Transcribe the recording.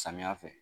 Samiya fɛ